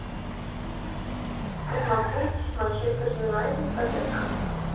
посмотреть манчестер юнайтед тоттенхэм